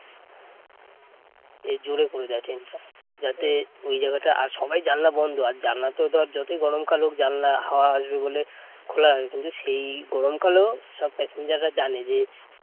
যাতে ওই জায়গাটা, আর সবাই জানালা বন্ধ আর জানলা তো ধর যতই গরমকাল হোক জানলা হাওয়া আসবে বলে খোলা হয় কিন্তু সেই গরমকালেও সব passenger জানে যে